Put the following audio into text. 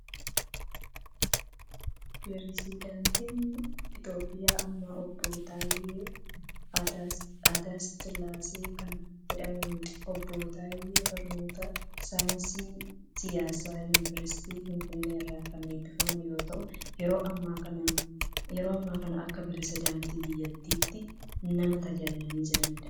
Pireesidaantiin Itoophiyaa ammaa Obbo Taayyee Aatse Sillaasee kan jedhamanidha. Obbo Taayyeen barnoota saayinsii siyaasaan yuuniversiitii Finfinnee irraa kan eebbifaman yoo ta'u, yeroo ammaa kana akka Pireesidaantii biyyattiitti nama tajaajilaa jiranidha.